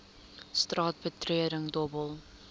straat betreding dobbel